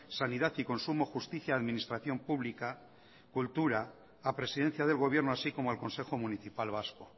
sanidad y consumo justicia administración pública cultura a presidencia del gobierno así como al consejo municipal vasco